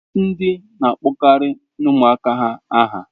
Ndi na-akpọkarị ụmụaka ha aha.